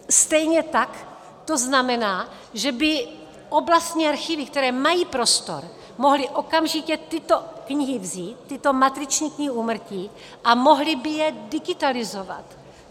Stejně tak to znamená, že by oblastní archivy, které mají prostor, mohly okamžitě tyto knihy vzít, tyto matriční knihy úmrtí, a mohly by je digitalizovat.